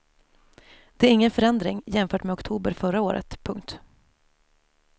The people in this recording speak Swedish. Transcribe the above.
Det är ingen förändring jämfört med oktober förra året. punkt